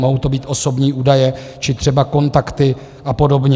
Mohou to být osobní údaje či třeba kontakty a podobně.